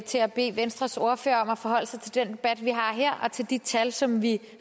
til at bede venstres ordfører om at forholde sig til den debat vi har her og til de tal som vi